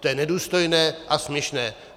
To je nedůstojné a směšné.